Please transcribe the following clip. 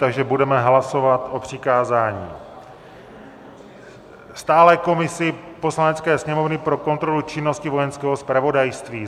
Takže budeme hlasovat o přikázání stálé komisi Poslanecké sněmovny pro kontrolu činnosti Vojenského zpravodajství.